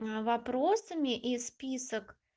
а вопросами и список